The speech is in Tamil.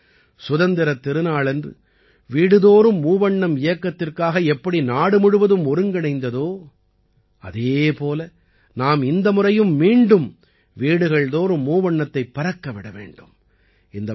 கடந்த ஆண்டு சுதந்திரத் திருநாளன்று வீடுதோறும் மூவண்ணம் இயக்கத்திற்காக எப்படி நாடு முழுவதும் ஒருங்கிணைந்ததோ அதே போல நாம் இந்த முறையும் மீண்டும் வீடுகள்தோறும் மூவண்ணத்தைப் பறக்க விட வேண்டும்